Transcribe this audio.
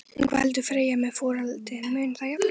En hvað heldur Freyja með folaldið, mun það jafna sig?